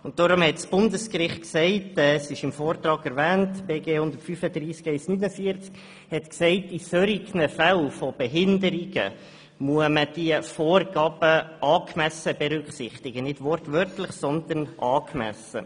Deshalb hat das Bundesgericht gesagt – der BGE 135 I 49 ist im Vortrag erwähnt –, in Fällen von Behinderungen seien die Vorgaben angemessen zu berücksichtigen, also nicht wortwörtlich, sondern angemessen.